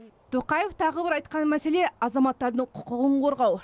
тоқаев тағы бір айтқан мәселе азаматтардың құқығын қорғау